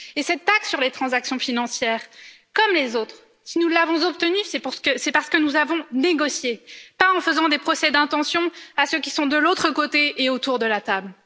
Et cette taxe sur les transactions financières, comme les autres, si nous l'avons obtenue, c'est parce que nous avons négocié, pas en faisant des procès d'intention à ceux qui sont de l'autre côté et autour de la table.